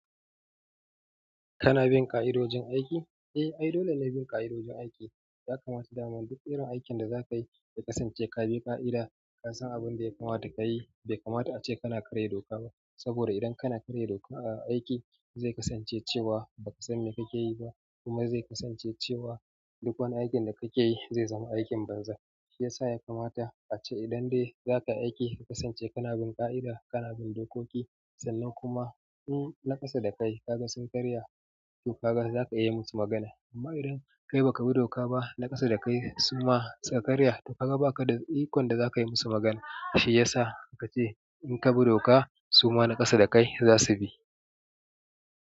Kana bin ƙa'idojin aiki? Eh, ai dole ne a bin ƙa'idojin aiki. Yakamata dama duk irin aikin da zakayi ya kasanche kabi qa'ida. Ka san abin da ya kamata ka yi, bai kamata a ce kana karya doka ba. Saboda idan kana karya doka a aiki, zai kasance cewa ba ka san me kake yi ba. Kuma zai kasance cewa duk wani aikin da kake yi zai zama aikin banza. Shi ya sa ya kamata a ce idan dai za ka aiki ka kasance kana bin ƙa'ida, kana bin dokoki, sannan kuma in na ƙasa da kai ka ga sakariyar shugaba za ka iya yi musu magana. Amma idan kai ba ka bi doka ba na ƙasa da kai suma karya ta kaga ba ka da ikon da za ka yi musu magana. Shi ya sa aka ce in ka bi doka suma na ƙasa da kai za su bi.